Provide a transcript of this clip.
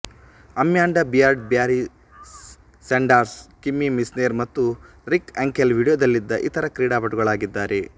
Amanda Beard Barry Sanders Kimmie Meissner ಮತ್ತು Rick Ankiel ವಿಡಿಯೋದಲ್ಲಿದ್ದ ಇತರ ಕ್ರೀಡಾಪಟುಗಳಾಗಿದ್ದಾರೆ